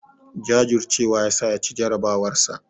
Jajurcewa yasa ya ci jarabawarsa.